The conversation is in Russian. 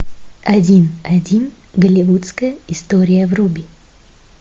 один один голливудская история вруби